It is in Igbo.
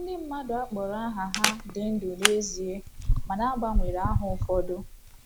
Ndị mmadụ a kpọrọ aha ha dị ndụ n’ezie, mana a gbanwere aha ụfọdụ..